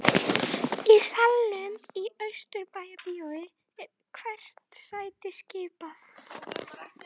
Í salnum í Austurbæjarbíói er hvert sæti skipað